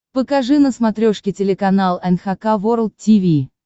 покажи на смотрешке телеканал эн эйч кей волд ти ви